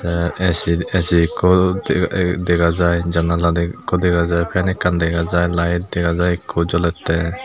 te ac ac ekko de ppdega jai jannala ekko dega jai fan ekkan dega jai light dega jai ekko jolette.